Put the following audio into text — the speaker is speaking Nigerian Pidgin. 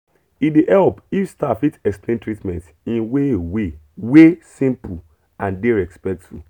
e dey help if staff fit explain treatment in way way wey simple and dey respectful